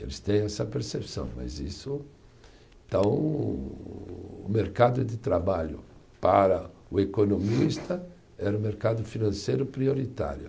Eles têm essa percepção, mas isso. Então, o mercado de trabalho para o economista era o mercado financeiro prioritário.